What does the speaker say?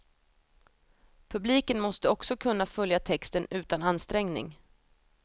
Publiken måste också kunna följa texten utan ansträngning.